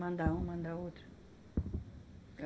Manda um, manda outro.